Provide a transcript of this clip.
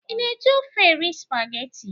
Ị na-eji ofe erị spageti?